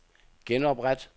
genopret